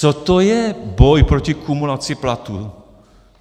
Co to je boj proti kumulaci platů?